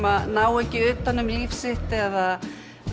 að ná ekki utan um líf sitt eða